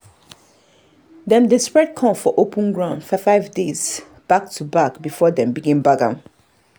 dem dey spread corn for open ground five days five days back-to-back before dem begin bag am.